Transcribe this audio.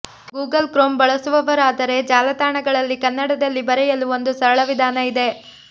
Google Chrome ಬಳಸುವವರಾದರೆ ಜಾಲತಾಣಗಳಲ್ಲಿ ಕನ್ನಡದಲ್ಲಿ ಬರೆಯಲು ಒಂದು ಸರಳ ವಿಧಾನ ಇದೆ